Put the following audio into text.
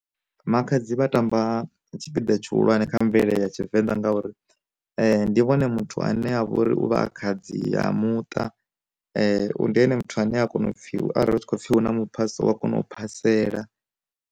Makhadzi vha tamba tshipiḓa tshihulwane kha mvelele ya tshivenḓa ngauri, ndi vhone muthu ane avha ori u vha a khadzi ya muṱa, ndi ene muthu ane a kona u pfhi u arali hu khou pfhi hu na mu phasaho u wa kona u phasela.